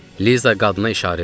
Liza qadına işarə elədi.